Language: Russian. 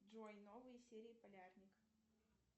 джой новые серии полярник